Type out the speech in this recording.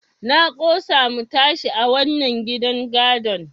Na ƙosa mu tashi a wannan gidan gadon.